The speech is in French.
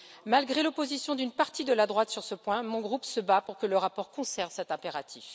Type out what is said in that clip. Malgré l'opposition d'une partie de la droite sur ce point, mon groupe se bat pour que le rapport conserve cet impératif.